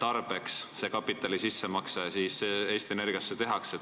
tarbeks see kapitali sissemakse Eesti Energiasse tehakse?